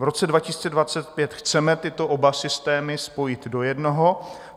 V roce 2025 chceme oba tyto systémy spojit do jednoho.